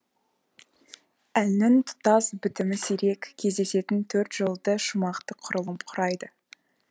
әннің тұтас бітімі сирек кездесетін төрт жолды шумақты құрылым құрайды